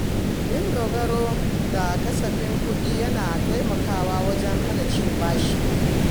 Yin dogaro da kasafin kuɗi yana taimakawa wajen hana cin bashi.